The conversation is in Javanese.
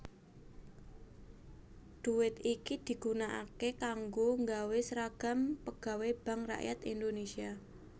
Dhuwit iki digunakaké kanggo nggawé sragam pegawai Bank Rakyat Indonesia